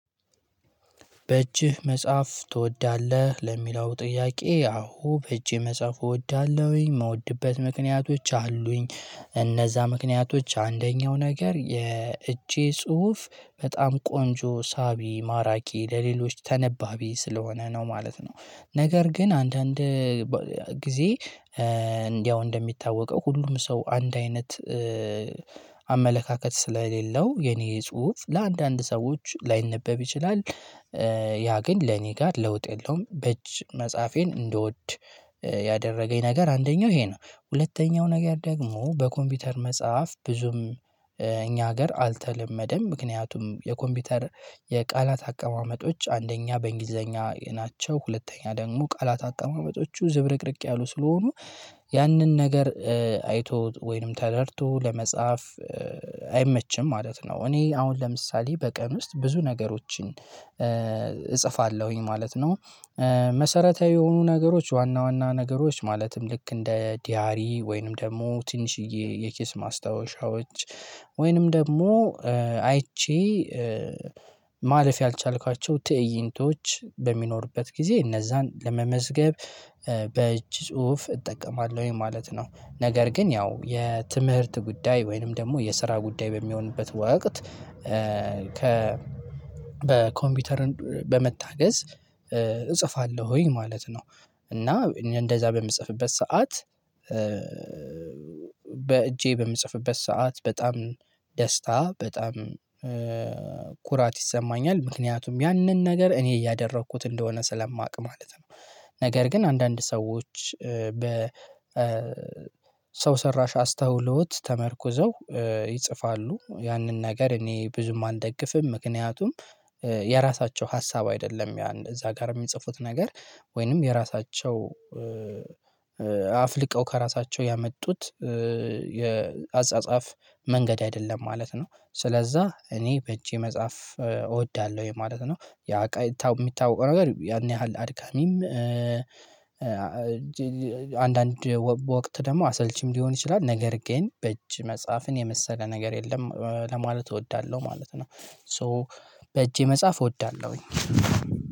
በእጅህ መጻፍ ትወዳለህ? ለሚለው ጥያቄ አዎ በእጄ መጻፍ እወዳለሁኝ እምወድበት ምክንያቶች አሉኝ እነዛ ምክንያቶች አንደኛው ነገር የእጄ ጽሁፍ በጣም ቆንጆ ሳቢ ማራኪ ለሌሎች ተነባቢ ስለሆነ ነው ማለት ነው። ነገር ግን አንዳንድ ጊዜ ያው እንደሚታወቀው ሁሉም ሰው አንድ አይነት አመለካከት ስለሌለው የኔ ጽሁፍ ለአንዳንድ ሰዎች ላይነበብ ይችላል። ያ ግን ለእኔ ጋር ለውጥ የለውም በእጅ መፃፌን እንድወድ ያደረገኝ ነገር አንደኛው ይሄ ነው። ሁለተኛው ነገር ደግሞ በኮምፒውተር መጻፍ ብዙም እኛ ሀገር አልተለመደም ምክንያቱም የኮምፒውተር የቃላት አቀማመጦች አንደኛ በእንግሊዘኛ ናቸው ሁለተኛ ደግሞ ቃላት አቀማመጦቹ ዝብርቅርቅ ያሉ ስለሆኑ ያንን ነገር አይቶ ወይንም ተረድቶ ለመጻፍ አይመችም ማለት ነው። እኔ አሁን ለምሳሌ በቀን ውስጥ ብዙ ነገሮችን እጽፋለሁኝ ማለት ነው። መሰረታዊ የሆኑ ነገሮች ዋና ዋና ነገሮች ማለትም ልክ እንደ ዲያሪ ወይንም ደሞ ትንሽዬ የኬስ ማስታወሻዎች ወይንም ደግሞ አይቼ ማለፍ ያልቻልኳቸው ትእይንቶች በሚኖርበት ጊዜ እነዛን ለመመዝገብ በይጅ ጽሁፍ እጠቀማለሁ ማለት ነው። ነገር ግን ያው የትምህርት ጉዳይ ወይንም ደግሞ የስራ ጉዳይ በሚሆንበት ወቅት በኮምፒውተርን በመታገዝ እጽፋለሁኝ ማለት ነው። እና እንደዛ በምጽፍበት ሰዓት በእጄ በምጽፍበት ሰዓት በጣም ደስታ በጣምኩራት ይሰማኛል ምክንያቱም ያንን ነገር እኔ እያደረኩት እንደሆነ ስለማውቅ ማለት ነው። ነገር ግን አንዳንድ ሰዎች ሰው ሰራሽ አስተውሎት ተመርኩዘው ይጽፋሉ ያንን ነገር እኔ ብዙም አልደግፍም ምክንያቱም የራሳቸው ሀሳብ አይደለም እዛ ጋር የሚጽፉት ነገር ወይንም የራሳቸው አፍልቀው ከራሳቸው ያመጡት የአጻጻፍ መንገድ አይደለም ማለት ነው። ስለዛ እኔ በእጄ መጽሐፍ እወዳለሁ የማለት ነው። ያ ሚታወቀው ነገር ያን ያህል አድካሚም አንዳንድ በወቅት ደግሞ አሰልቺም ሊሆን ይችላል ነገር ግን በእጅ መጽሐፍን የመሰለ ነገር የለም ለማለት እወዳለሁ ማለት ነው። ሶ በእጄ መጽሐፍ እወዳለሁኝ።